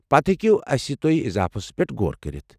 پتہٕ ہیكِو اسہِ سۭتۍ تُہۍ اضافس پیٹھ غور كٔرِتھ۔